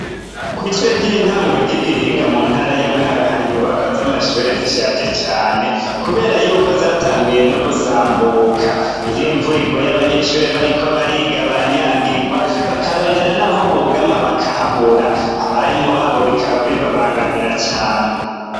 Kw'ishure ry'intango ry'i Gihinga mu ntara ya Mwaro hari inyubakwa z'amashure zishaje cane kubera yuko zatanguye no gusambuka. Iyo imvura iguye abanyeshure bariko bariga baranyagirwa bakarondera naho bugama bakahabura. Abarimu babo bikaba bibabangamira cane.